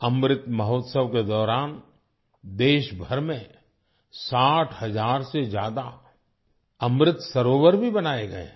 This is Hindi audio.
अमृत महोत्सव के दौरान देशभर में 60 हजार से ज्यादा अमृत सरोवर भी बनाए गए हैं